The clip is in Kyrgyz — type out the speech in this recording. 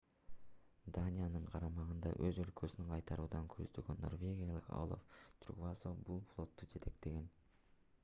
даниянын карамагынан өз өлкөсүн кайтарууну көздөгөн норвегиялык олаф трюгвассо бул флотту жетектеген